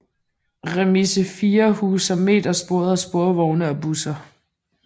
Remise 4 huser metersporede sporvogne og busser